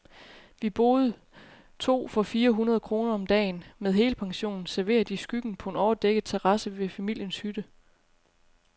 Vi boede to for fire hundrede kroner om dagen, med helpension, serveret i skyggen på en overdækket terrasse ved familiens hytte.